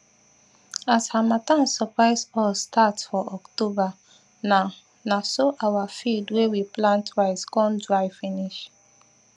as harmattan surprise us start for october na na so our field wey we plant rice con dry finish